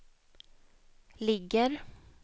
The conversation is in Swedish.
ligger